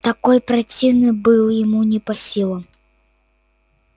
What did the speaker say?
такой противный был ему не по силам